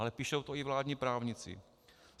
Ale píší to i vládní právníci.